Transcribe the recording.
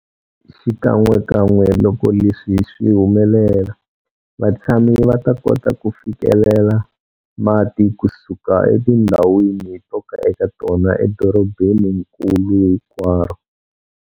Xikan'wekan'we loko leswi swi humelela, vatshami va ta kota ku fikelela mati kusuka etindhawini to ka eka tona edorobeninkulu hinkwaro.